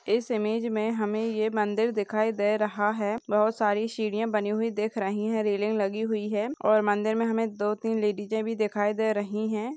इस ईमेज मे हमे ये मंदिर दिखाई दे रहा है। बहुत सारी सीढ़िया लगी हुई दिख रही है। रेलिंग लगी हुए है। और मंदिर मे हमे दो तीन लेडीज दिखाई दे रही है।